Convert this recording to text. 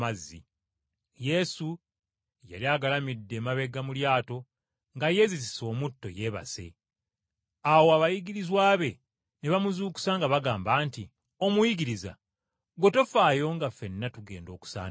Yesu yali agalamidde emabega mu lyato nga yeezizise omutto yeebase. Awo abayigirizwa be ne bamuzuukusa nga bagamba nti, “Omuyigiriza, ggwe tofaayo nga ffenna tugenda okusaanawo?”